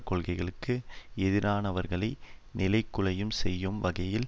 கொள்கைகளுக்கு எதிரானவர்களை நிலைகுலைய செய்யும் வகையில்